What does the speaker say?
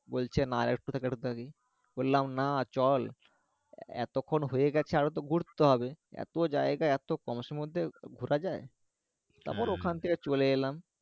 বলছে বললাম না চল এতক্ষণ হয়ে গেছে আরো তো ঘুরতে হবে এতো জায়গা এতো কম সময়ের মধ্যে ঘরা যায়? তারপর ওখান থেকে চলে এলাম